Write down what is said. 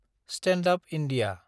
stand up India